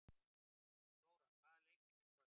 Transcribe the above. Flóra, hvaða leikir eru í kvöld?